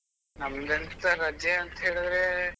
ನಮ್ದೆಂತ ರಜೆ ಅಂತ ಹೇಳಿದ್ರೆ.